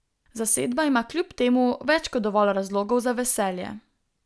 Zasedba ima kljub temu več kot dovolj razlogov za veselje.